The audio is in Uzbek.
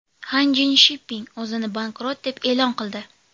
Hanjin Shipping o‘zini bankrot deb e’lon qildi.